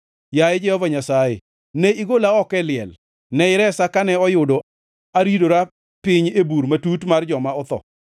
Yaye Jehova Nyasaye, ne igola oko e liel, ne iresa kane oyudo aridora piny e bur matut mar joma otho.